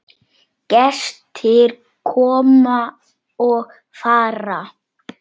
Gestir koma og fara.